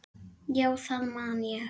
Já, það man ég